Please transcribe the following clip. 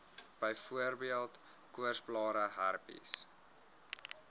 byvoorbeeld koorsblare herpes